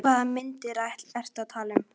Hvaða myndir ertu að tala um?